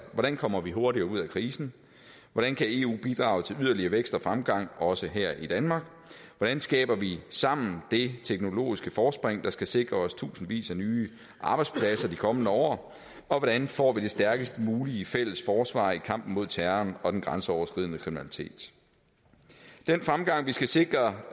hvordan kommer vi hurtigere ud af krisen hvordan kan eu bidrage til yderligere vækst og fremgang også her i danmark hvordan skaber vi sammen det teknologiske forspring der skal sikre os tusindvis af nye arbejdspladser i de kommende år og hvordan får vi det stærkest mulige fælles forsvar i kampen mod terroren og den grænseoverskridende kriminalitet den fremgang vi skal sikre